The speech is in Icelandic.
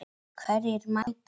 Hverjir mætast?